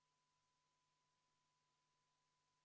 Kohal on 56 Riigikogu liiget.